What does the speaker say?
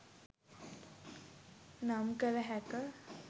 නම් කල හැක